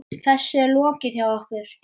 Þessu er lokið hjá okkur.